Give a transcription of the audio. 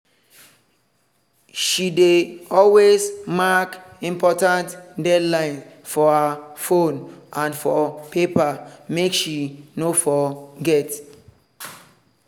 she dey always mark important deadlines for her phone and for paper make she no forget.